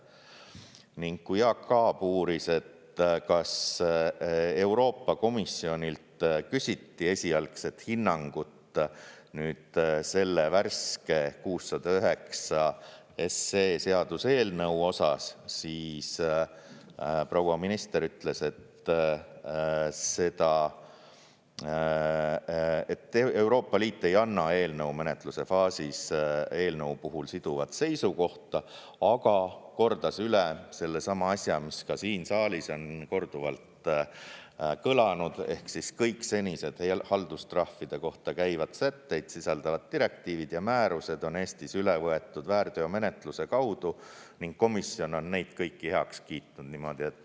Ning kui Jaak Aab uuris, kas Euroopa Komisjonilt küsiti esialgset hinnangut selle värske 609 seaduseelnõu osas, siis proua minister ütles, et Euroopa Liit ei anna eelnõu menetluse faasis eelnõu puhul siduvat seisukohta, aga kordas üle sellesama asja, mis ka siin saalis on korduvalt kõlanud, et kõik senised haldustrahvide kohta käivaid sätteid sisaldavad direktiivid ja määrused on Eestis üle võetud väärteomenetluse kaudu ning komisjon on neid kõiki heaks kiitnud.